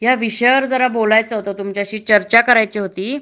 ह्या विषयावर मला जरा बोलायचं होत तुमच्याशी चर्चा करायची होती